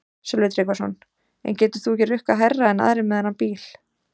Sölvi Tryggvason: En getur þú ekki rukkað hærra en aðrir með þennan bíl?